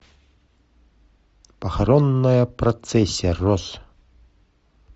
похоронная процессия роз